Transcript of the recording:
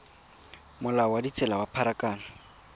molao wa ditsela wa pharakano